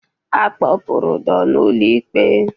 Akpọ pụrụ Udo n'ụlọ ikpe.